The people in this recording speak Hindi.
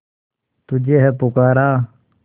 तुझे है पुकारा